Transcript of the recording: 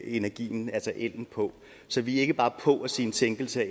energien altså ellen på så vi er ikke bare med på at sige en sænkelse